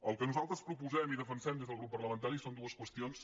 el que nosaltres proposem i defensem des del grup parlamentari són dues qüestions